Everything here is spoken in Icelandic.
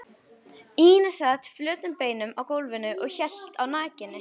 Ína sat flötum beinum á gólfinu og hélt á nakinni